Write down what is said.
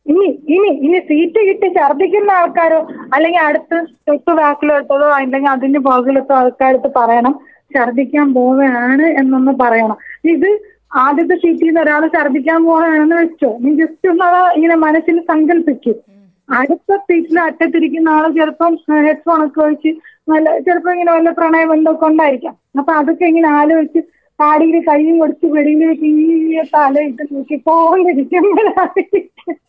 ഇനി ഇനി സീറ്റ് കിട്ടി ശർദ്ദിക്കുന്ന ആൾക്കാരോ? അല്ലെങ്കി അടുത്ത് തൊട്ടു ബാക്കിലോട്ടോ അല്ലെങ്കി അതിന്റെ പുറകില്ലത്തെ ആൾകാരെര്ത്ത് പറേണം ശർദിക്കൻ പോവേണ് എന്നൊന്ന് പറയേണം. ഇത് ആദ്യത്തെ സീറ്റീന്ന് ഒരാൾ ഛർദ്ദിക്കാൻ പോവേണന്ന് വെച്ചോ നീ ജസ്റ്റ് ഒന്ന് അത് അത് ഇങ്ങനെ മനസ്സിൽ സങ്കൽപ്പിക്ക്. അടുത്ത സീറ്റിന്റെ അറ്റത്തിരിക്കുന്ന ആൾ ചെലപ്പോ ഹെഡ് ഫോണ്‍ ഒക്കെ വച്ച് നല്ല ചിലപ്പോ ഇങ്ങനെ വല്ലോം പ്രണയോം വെല്ലോം ഒക്കെ ഉണ്ടായിരിക്കാം. അപ്പോ അതൊക്കെ ഇങ്ങനെ ആലോയിച്ച് താടിയിൽ കയ്യും കൊടുത്ത് വെളിയിലേക്ക് ഇങ്ങനെ തലയിട്ട് നോക്കിയപ്പോ താഴ്ന്നിരിക്കുമ്പോഴായിരിക്കും*